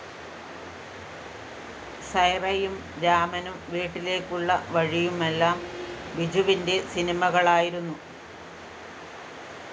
സൈറയും രാമനും വീട്ടിലേക്കുള്ള വഴിയുമെല്ലാം ബിജുവിന്റെ സിനിമകളായിരുന്നു